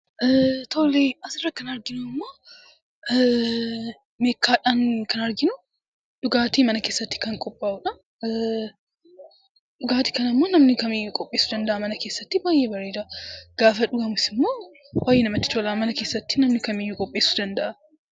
Suurri asirraa kan meekkaadhaan kan arginu dhugaatii mana keessatti kan qophaa'udha. Dhugaatii kanammoo namni kamiyyuu qopheessuu danda'a, mana keessatti baay'ee bareeda. Gaafa dhugamus immoo baay'ee namatti tola . Namni kamiyyuu qopheessuu danda'a.